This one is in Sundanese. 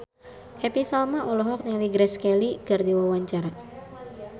Happy Salma olohok ningali Grace Kelly keur diwawancara